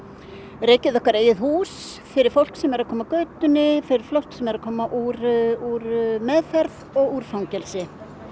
rekið okkar eigið hús fyrir fólk sem er að koma af götunni fyrir fólk sem er að koma úr úr meðferð og úr fangelsi